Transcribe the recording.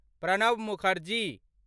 Pranab Mukherjee